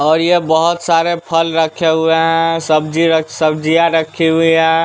और ये बहुत सारे फल रखे हुए हैं सब्जी रख सब्जियां रखी हुई हैं।